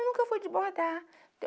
Eu nunca fui de bordar.